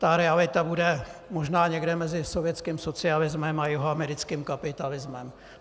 Ta realita bude možná někde mezi sovětským socialismem a jihoamerickým kapitalismem.